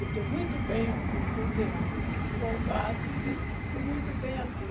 Eu estou muito bem assim, solteirão, folgado, entende? Estou muito bem assim.